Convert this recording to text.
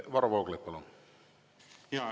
Varro Vooglaid, palun!